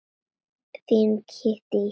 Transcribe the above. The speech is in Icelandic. Þín Kittý.